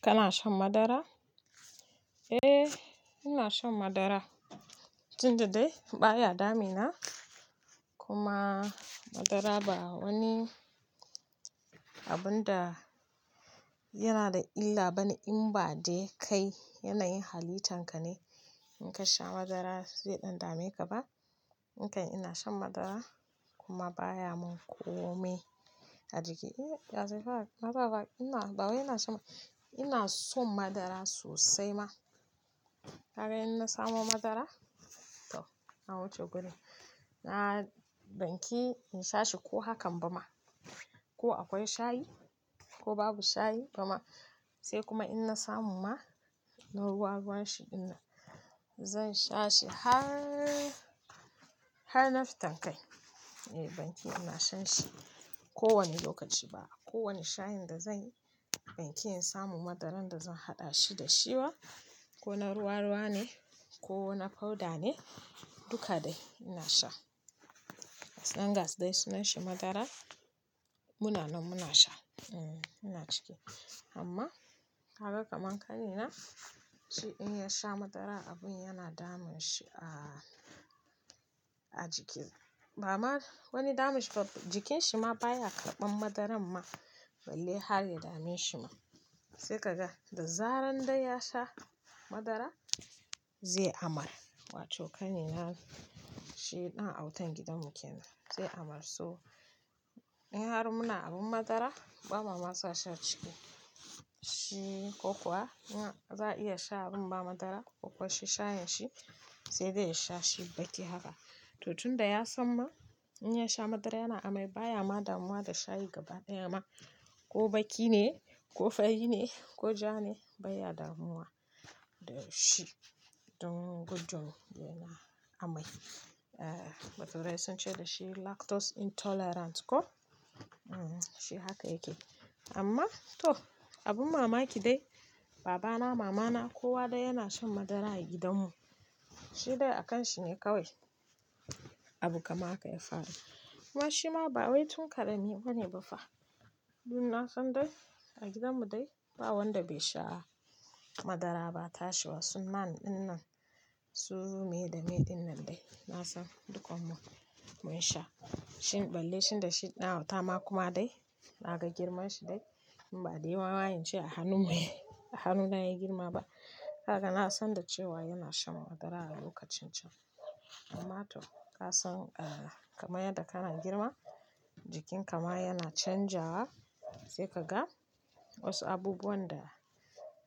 Kana shan madara? Eh, ina shan madara. Tunda dai baya damuna kuma madara ba wani abun da yana da illa bane in ba dai kai yanayin halitanka ne in ka sha madara zai ɗan dame ka ba. Nikan ina shan madara kuma baya mun komai a jiki. Eh, ya zai fara? Na zaba ina, bawai ina sha ma. Ina son madara sosai ma. Kaga inna samo madara to na wuce guri. Na banki in shashi ko hakan bama. Ko akwai shayi ko babu shayi fama. Sai kuma inna samu ma na ruwa ruwa shi dinnan. Zansha shi har, harna fitan kai. Eh banki ina shanshi ko wani lokaci ba. Ko wani shayinda zanyi banki in samu madaran da zan haɗa shi da shi ba kona ruwa-ruwa ne kona powder ne duka dai ina sha. As long as dai sunanshi madara muna nan muna sha. Eh, ina ciki amma kaga kaman kanina shi in yasha madara abun yana damun shi a, a jiki. Bama wani damun shi fa jikin shi ma baya karɓan madaran ma. Balle harya dame shi ma. Sai kaga da zaran dai yasha madara zai amar. Wato kanina shi ɗan autan gidan mu kenan zai amar so. In har muna abun madara ba mama sashi ciki. Shi ko kuwa in za'a iya sha inba madara ko kuwa shi shayin shi sai dai ya shashi baki haka. To tunda yasamma, in yasha madara yana amai bayama damuwa da shayi gaba daya ma. Ko baki ne ko fari ne ko jane baya damuwa dashi. Don gudun yana amai. Eh, batale sunce dashi lactose intolerance ko? Eh shi haka yake. Amma to abin mamaki dai baba na, mama na kowa dai yana shan madara a gidan mu. Shidai a kan shine kawai abu kamar haka ya faru. Kuma shima ba wai tun ƙarami bane bafa. Dunna san dai a gidan mu dai ba wanda bai sha madara ba. Tashiwa sun man ɗinnan su meye da meye ɗinnan dai. Nasan dukkan mu munsha shin balle shinda shi dan autama kuma dai. Naga girman shi dai inba dai wawayen shi a hannun mu. A hannuna ya girma ba. Haka na san da cewa yana shan madara a lokacin can. Amma to kasan, ah, kamar yadda kana girma jikin ka ma yana canjawa sai kaga wasu abubuwan da,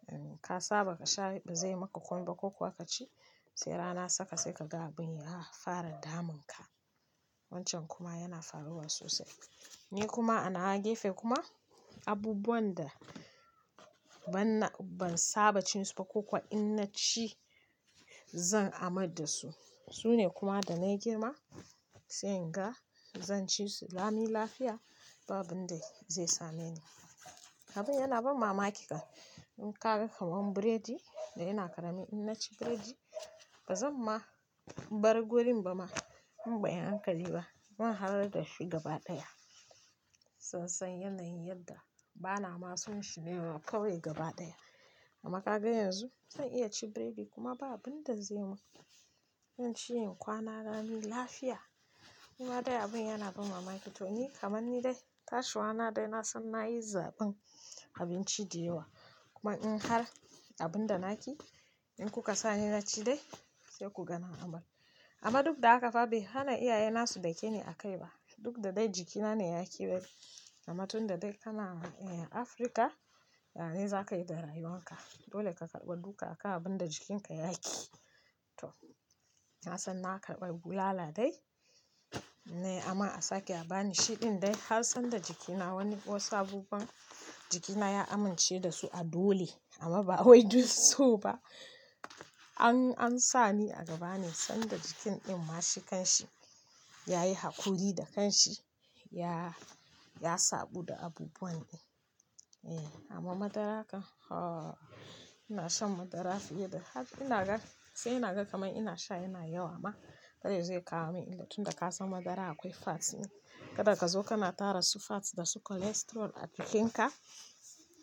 eh, ka saba kasha bazai maka komaiba ko kuwa kaci sai rana saka sai kaga abunya fara damun ka. Wancan kuma yana faruwa sosai. Ni kuma anawa gefe kuma abubuwan da banna, ban saba cin suba ko kuwa in naci zan amar dasu. Sune kuma da nayi girma sai inga zan cisu lami lafiya ba abunda zai same ni. Abin yana ban mamaki fa. In kaga kamar biredi da ina ƙarami innaci biredi bazan ma bar gorin bama in banyi hankali ba. Zan harar dashi gabaɗaya san, san yanayin yadda banama sonshi nema kawai gabaɗaya. Amma kaga yanzu zan iya ci biredi kuma ba abunda zai mun. Zanci in kwana lami lafiya. Kuma dai abin yana ban mamaki toni kaman nidai tashiwa na dai na san na yi zaben abinci da yawa. Kuma in har abun da naki in kuka sani naci dai sai kuga na amar. Amma duk da haka fa bai hana iyaye na su dakeni a kaiba. Duk da dai jikina ne ya ƙi bari. Amma tunda dai kana, eh, Afrika, yane zakayi da rayuwan ka. Dole ka karɓa duka akan abunda jikin ya yaƙi. To na sanna karɓa bulala dai. Eh amma a sake a bani shiɗin dai har sanda jikina wani wasu abubuwan jikina ya amince dasu a dole. Amma ba wai duk soba. An, an sani a gaba ne sanda jikin in ma shi kanshi. Yayi hakuri da kan shi ya, ya sabuda abubuwan ne. Eh amma madara kan haa ina san madara fiye da har inaga sai inaga kamar ina sha yana yawa ma. Kar yazo ya kawo min illa tunda ka san madara akwai fat ne. Kada kazo kana tara su fats dasu cholesterol a jikin ka.